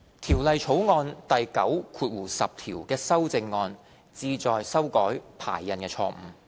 《條例草案》第9條的修正案旨在修改排印錯誤。